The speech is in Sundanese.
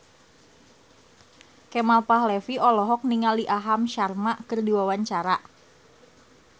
Kemal Palevi olohok ningali Aham Sharma keur diwawancara